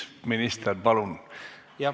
Minister, palun!